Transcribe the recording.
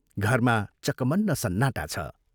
घरमा चकमन्न सन्नाटा छ।